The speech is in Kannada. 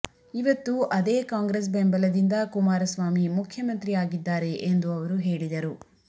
ಇವತ್ತು ಅದೇ ಕಾಂಗ್ರೆಸ್ ಬೆಂಬಲದಿಂದ ಕುಮಾರಸ್ವಾಮಿ ಮುಖ್ಯಮಂತ್ರಿ ಆಗಿದ್ದಾರೆ ಎಂದು ಅವರು ಹೇಳಿದರು